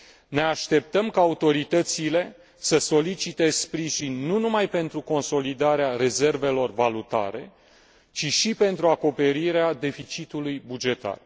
Ne așteptăm ca autoritățile să solicite sprijin, nu numai pentru consolidarea rezervelor valutare, ci și pentru acoperirea deficitului bugetar.